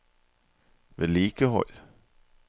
vedlikehold